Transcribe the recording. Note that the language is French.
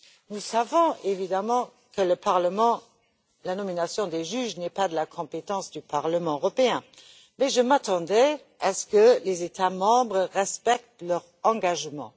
Nous savons évidemment que la nomination des juges n'est pas de la compétence du Parlement européen, mais je m'attendais à ce que les États membres respectent leur engagement.